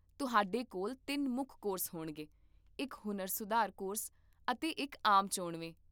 ਤੁਹਾਡੇ ਕੋਲ ਤਿੰਨ ਮੁੱਖ ਕੋਰਸ ਹੋਣਗੇ, ਇੱਕ ਹੁਨਰ ਸੁਧਾਰ ਕੋਰਸ, ਅਤੇ ਇੱਕ ਆਮ ਚੋਣਵੇਂ